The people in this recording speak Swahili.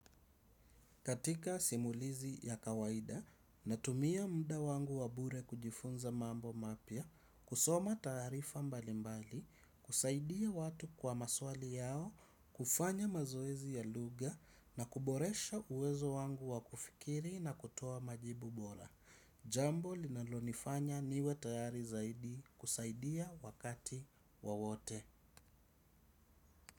Katika simulizi ya kawaida natumia muda wangu wa bure kujifunza mambo mapya, kusoma taarifa mbalimbali, kusaidia watu kwa maswali yao, kufanya mazoezi ya lugha na kuboresha uwezo wangu wa kufikiri na kutoa majibu bora. Jambo linalonifanya niwe tayari zaidi kusaidia wakati wowote.